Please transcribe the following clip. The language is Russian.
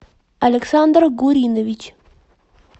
александр гуринович